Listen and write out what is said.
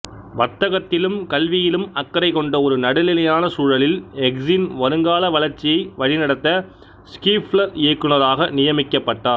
வர்த்தகத்திலும் கல்வியிலும் அக்கறை கொண்ட ஒரு நடுநிலையான சூழலில் எக்ஸின் வருங்கால வளர்ச்சியை வழிநடத்த ஸ்கீஃப்லர் இயக்குனராக நியமிக்கப்பட்டார்